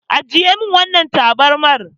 Ajiye min wannan tabarmar.